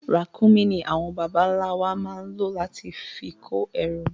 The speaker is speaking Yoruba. Ràkúnmí ní àwọn bàbá ń la wà máa ń lo láti fi kó ẹrù